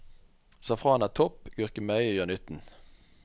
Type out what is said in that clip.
Safran er topp, gurkemeie gjør nytten.